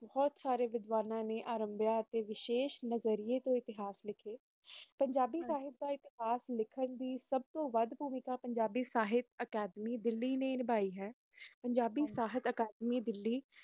ਮੇਂ ਪੁੱਛਣਾ ਸੀ ਤੁਵੱਡੇ ਕੋਲ ਕ ਇਤਿਹਾਸ ਦਾ ਪਿਛਟਾਚਾਰ ਕਿਸਨੂੰ ਕਹਿਆ ਜਾਂਦਾ ਹੈ ਓਰ ਕਿਉ ਪੰਜਾਬ ਦਾ ਇਤਿਹਾਸ ਲਿਖਣ ਦੀ ਖਾਤਿਰ